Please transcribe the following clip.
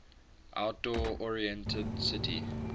outdoor oriented city